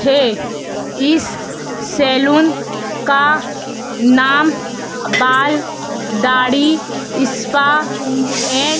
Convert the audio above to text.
है इस सैलून का नाम बाल दाढ़ी स्पा एंड --